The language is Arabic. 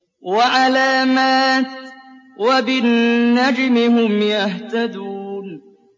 وَعَلَامَاتٍ ۚ وَبِالنَّجْمِ هُمْ يَهْتَدُونَ